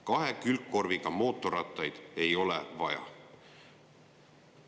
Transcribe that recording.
Kahe külgkorviga mootorratast ei ole vaja.